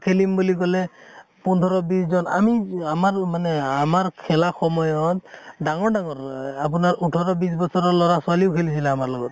খেলিম বুলি কʼলে পোন্ধৰ বিছ জন আমি আমাৰ মানে আমাৰ খেলা সময়ত ডাঙৰ ডাঙৰ আৰ আপোনাৰ ওঠৰ বিছ বছৰৰ লʼৰা ছোৱালীও খেলিছিল আমাৰ লগত